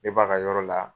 Ne b'a ka yɔrɔ la